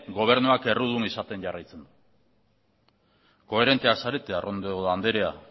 gobernua errudun izaten jarraitzen du koherenteak zarete arrondo anderea